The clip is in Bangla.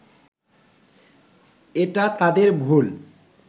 এটা তাদের ভুল